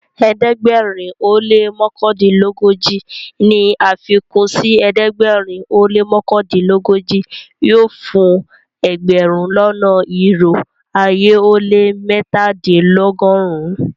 Ẹdẹgbẹ̀rin o lẹ́ mọkandinlọgọ́ji ní afikun sí ẹdẹgbẹ̀rin o lẹ́ mọkandinlọgọ́ji yóò fún ẹgbẹ̀rún lọ́nà irò ayé ó lẹ́ mẹ́tàdìnlọ́gọ́run-un.